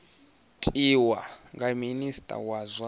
tiwa nga minista wa zwa